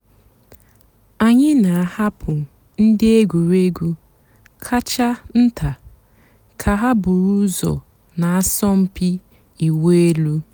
ányị́ nà-àhapụ́ ndị́ ègwùrégwú kàchà ntá kà hà búrú ụ́zọ́ nà àsọ̀mpị́ ị̀wụ́ èlú.